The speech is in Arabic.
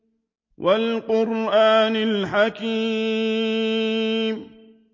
وَالْقُرْآنِ الْحَكِيمِ